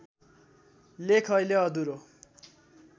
लेख अहिले अधुरो